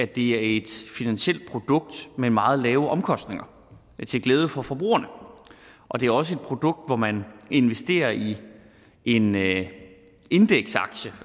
det er et finansielt produkt med meget lave omkostninger til glæde for forbrugerne og det er også et produkt hvor man investerer i en indeksaktie